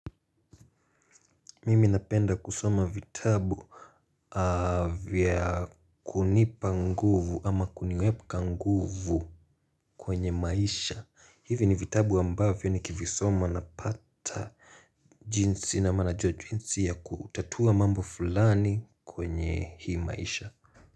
Mimi napenda kusoma vitabu vya kunipa nguvu ama kuniweka nguvu kwenye maisha hivi ni vitabu ambavyo nikivisoma napata jinsi na mana cha jinsia kutatua mambo fulani kwenye hii maisha.